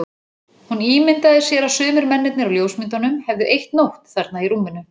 Hún ímyndaði sér að sumir mennirnir á ljósmyndunum hefðu eytt nótt þarna í rúminu.